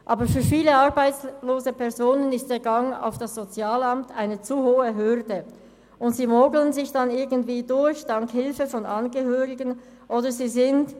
Aber für viele arbeitslose Personen ist der Gang auf das Sozialamt eine zu hohe Hürde, und sie mogeln sich dank der Hilfe von Angehörigen irgendwie durch.